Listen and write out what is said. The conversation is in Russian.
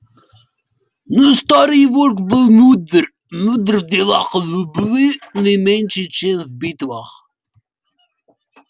но старый волк был мудр мудр в делах любви не меньше чем в битвах